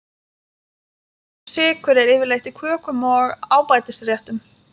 Töluverður sykur er yfirleitt í kökum og ábætisréttum.